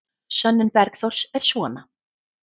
Sönnun Bergþórs er svona: